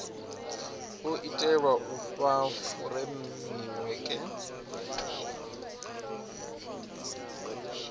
o itelwa u fha furemiweke